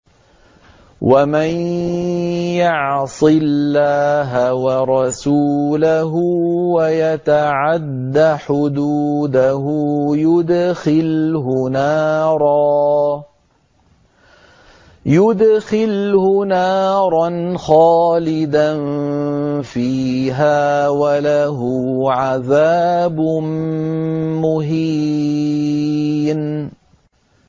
وَمَن يَعْصِ اللَّهَ وَرَسُولَهُ وَيَتَعَدَّ حُدُودَهُ يُدْخِلْهُ نَارًا خَالِدًا فِيهَا وَلَهُ عَذَابٌ مُّهِينٌ